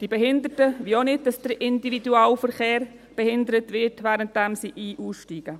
Die Behinderten wollen auch nicht, dass der Individualverkehr behindert wird, während sie ein- und aussteigen.